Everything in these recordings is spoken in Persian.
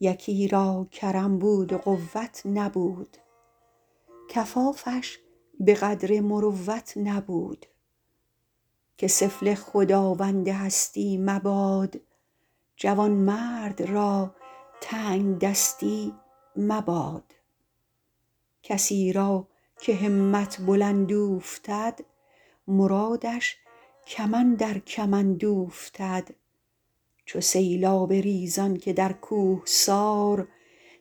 یکی را کرم بود و قوت نبود کفافش به قدر مروت نبود که سفله خداوند هستی مباد جوانمرد را تنگدستی مباد کسی را که همت بلند اوفتد مرادش کم اندر کمند اوفتد چو سیلاب ریزان که در کوهسار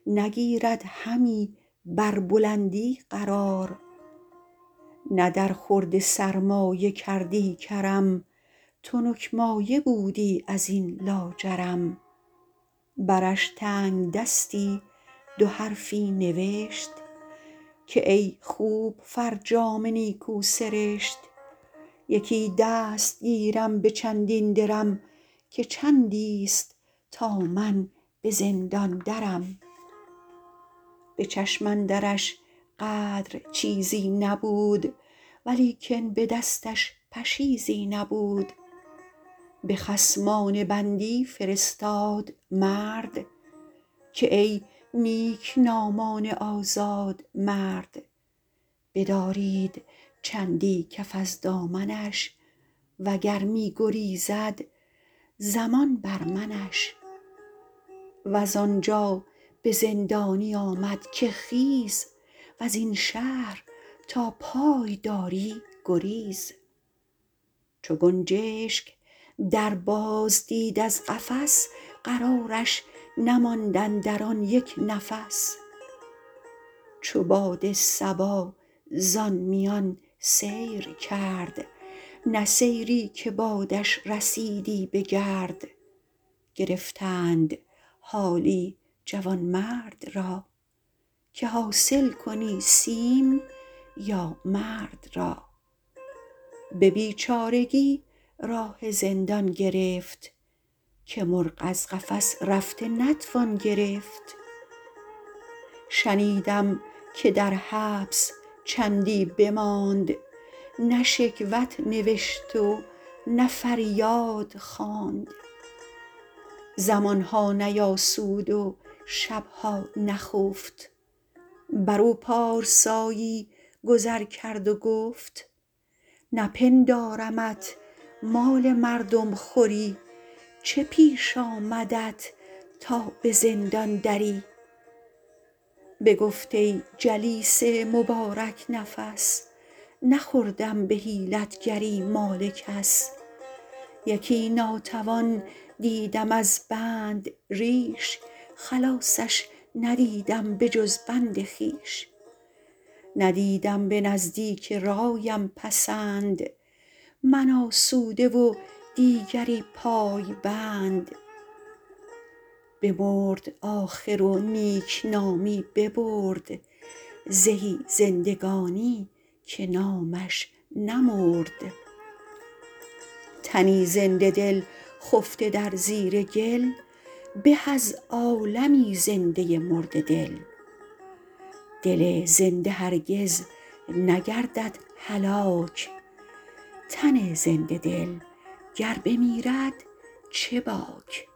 نگیرد همی بر بلندی قرار نه در خورد سرمایه کردی کرم تنک مایه بودی از این لاجرم برش تنگدستی دو حرفی نبشت که ای خوب فرجام نیکو سرشت یکی دست گیرم به چندین درم که چندی است تا من به زندان درم به چشم اندرش قدر چیزی نبود ولیکن به دستش پشیزی نبود به خصمان بندی فرستاد مرد که ای نیکنامان آزاد مرد بدارید چندی کف از دامنش و گر می گریزد ضمان بر منش وز آنجا به زندانی آمد که خیز وز این شهر تا پای داری گریز چو گنجشک در باز دید از قفس قرارش نماند اندر آن یک نفس چو باد صبا زآن میان سیر کرد نه سیری که بادش رسیدی به گرد گرفتند حالی جوانمرد را که حاصل کن این سیم یا مرد را به بیچارگی راه زندان گرفت که مرغ از قفس رفته نتوان گرفت شنیدم که در حبس چندی بماند نه شکوت نوشت و نه فریاد خواند زمانها نیاسود و شبها نخفت بر او پارسایی گذر کرد و گفت نپندارمت مال مردم خوری چه پیش آمدت تا به زندان دری بگفت ای جلیس مبارک نفس نخوردم به حیلتگری مال کس یکی ناتوان دیدم از بند ریش خلاصش ندیدم به جز بند خویش ندیدم به نزدیک رایم پسند من آسوده و دیگری پایبند بمرد آخر و نیکنامی ببرد زهی زندگانی که نامش نمرد تنی زنده دل خفته در زیر گل به از عالمی زنده مرده دل دل زنده هرگز نگردد هلاک تن زنده دل گر بمیرد چه باک